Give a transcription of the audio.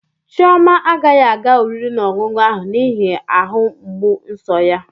Chioma agaghị aga oriri na ọṅụṅụ ahụ n'ihi ahụ mgbu nso ya.